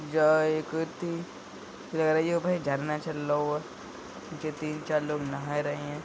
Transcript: जहां एक ती झरना चल लो ह पीछे तीन चार लोग नहाए रहे हैं।